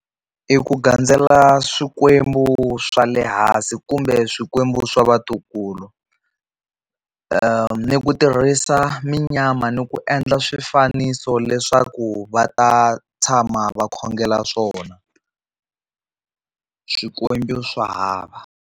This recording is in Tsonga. I ku gandzela Swikwembu swa le hansi kumbe Swikwembu swa vatukulu, ni ku tirhisa munyama ni ku endla swifaniso leswaku va ta tshama va khongela swona Swikwembu swa hava.